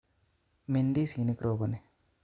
Min ndisi'nik roboni